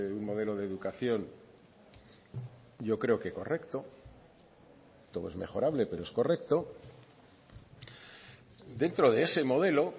un modelo de educación yo creo que correcto todo es mejorable pero es correcto dentro de ese modelo